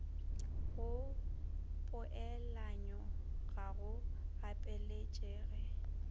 go poelanyo ga go gapeletšege